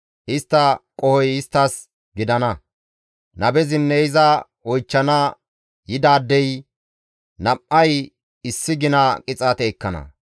Istta qohoy isttas gidana; nabezinne iza oychchana yidaadey nam7ay issi gina qixaate ekkana.